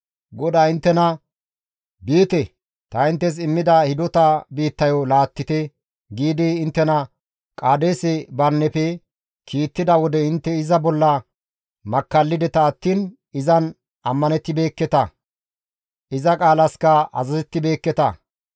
GODAY inttena, «Biite! Ta inttes immida hidota biittayo laattite» giidi inttena Qaadeese Barineppe kiittida wode intte iza bolla makkallideta attiin izan ammanettibeekketa; iza qaalaska azazettibeekketa.